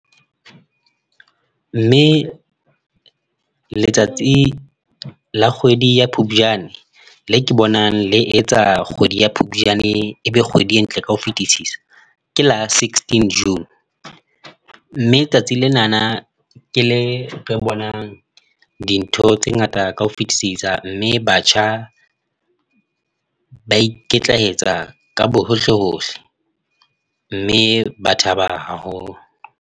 Mme letsatsi la kgwedi ya phupjane le ke bonang le etsa kgwedi ya phupjane e be kgwedi e ntle ka ho fetisisa, ke la sixteen June mme letsatsi lena ke le re bonang dintho tse ngata ka ho fetisisa, mme batjha ba ikitlaetsa ka bohohle hohle mme ba thaba haholo.